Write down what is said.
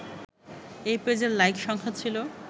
এই পেজের লাইক সংখ্যা ছিল